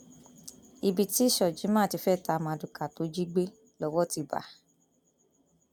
ibi tí shojiman ti fẹẹ ta mardukà tó jí gbé lọwọ ti bá a